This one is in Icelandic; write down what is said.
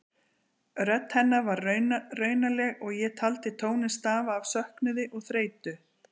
Rödd hennar var raunaleg og ég taldi tóninn stafa af söknuði og þreytu.